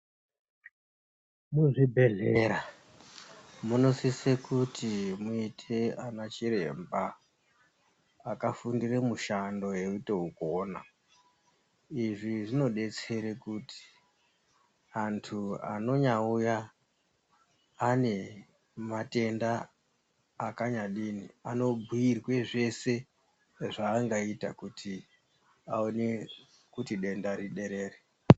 Muzvibhedhlera munosise kuti muite ana chiremba akafundire mushando eitoukona izvi zvinodetsere kuti antu anonyauya ane matenda akanyadini anobhiirwe zvese zvaanoita kuti aone kuti denda riderere.